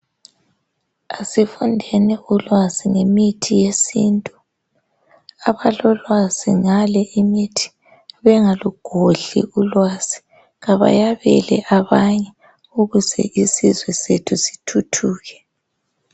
aisfundeni ulwazi ngemithi yesintu abalolwazi ngale imithi bengalugodli ulwazi kabayabele abanye ukuze isizwe sethu sithuthuke